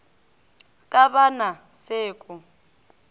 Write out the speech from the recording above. ka ba na se ko